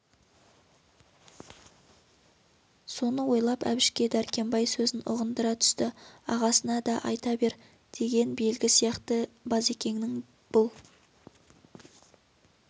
соны ойлап әбішке дәркембай сөзін ұғындыра түсті ағасына да айта бер деген белгі сияқты базекеңнің бұл